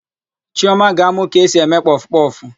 Chiọma ga-amụ ka esi eme kpọfụkpọfụ.